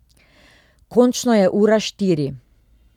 Končno je ura štiri.